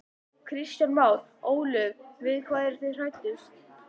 Kristján Már: Ólöf við hvað eru þið hræddust?